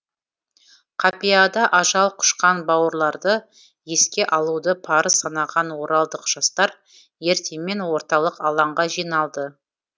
қапияда ажал құшқан бауырларды еске алуды парыз санаған оралдық жастар ертемен орталық алаңға жиналды